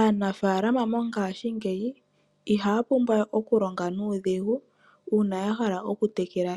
Aanafalama mongashingeyi ihaya pumbwa we okulonga nuudhigu uuna ya hala okutekela